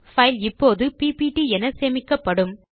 file இப்போது PPT என சேமிக்கப்படும்